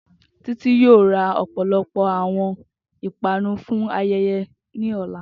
Titi yoo ra ọpọlọpọ awọn ipanu fun ayẹyẹ ni ọla.